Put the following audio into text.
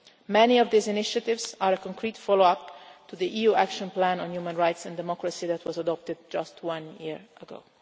Many of these initiatives are a concrete follow up to the EU action plan on human rights and democracy that was adopted just one year ago.